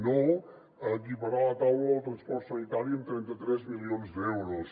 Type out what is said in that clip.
no a equiparar la taula del transport sanitari amb trenta tres milions d’euros